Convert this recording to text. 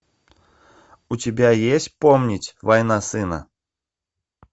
у тебя есть помнить война сына